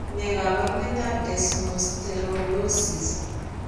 Ne kaabarunetap Desmosterolosis?